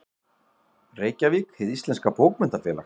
Reykjavík: Hið íslenska bókmenntafélag.